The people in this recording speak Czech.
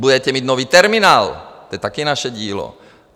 Budete mít nový terminál, to je také naše dílo.